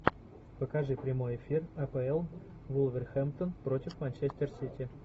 покажи прямой эфир апл вулверхэмптон против манчестер сити